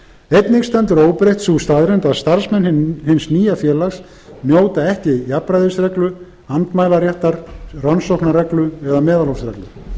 einnig stendur óbreytt sú staðreynd að starfsmenn hins nýja félags njóta ekki jafnræðisreglu andmælaréttar rannsóknarreglu eða meðalhófsreglu